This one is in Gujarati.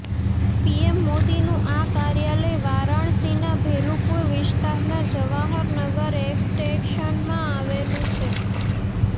પીએમ મોદીનું આ કાર્યાલય વારાણસીના ભેલૂપુર વિસ્તારના જવાહરનગર એક્સટેંશનમાં આવેલું છે